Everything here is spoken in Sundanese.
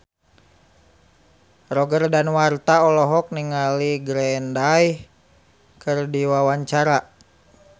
Roger Danuarta olohok ningali Green Day keur diwawancara